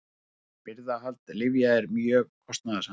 Birgðahald lyfja er mjög kostnaðarsamt.